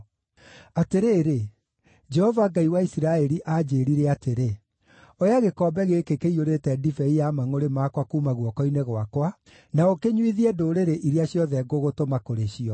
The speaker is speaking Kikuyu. Atĩrĩrĩ, Jehova Ngai wa Isiraeli, aanjĩĩrire atĩrĩ: “Oya gĩkombe gĩkĩ kĩiyũrĩte ndibei ya mangʼũrĩ makwa kuuma guoko-inĩ gwakwa, na ũkĩnyuithie ndũrĩrĩ iria ciothe ngũgũtũma kũrĩ cio.